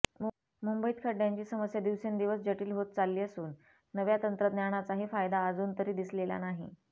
मुंबईत खड्डयांची समस्या दिवसेंदिवस जटील होत चालली असून नव्या तंत्रज्ञानाचाही फायदा अजून तरी दिसलेला नाही